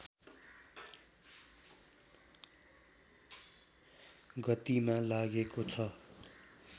गतिमा लागेको छ